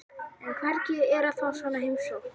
En hvernig er að fá svona heimsókn?